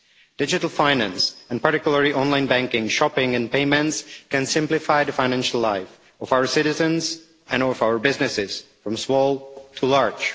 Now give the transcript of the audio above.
Digital finance, and particularly online banking, shopping and payments, can simplify the financial life of our citizens and of our businesses, from small to large.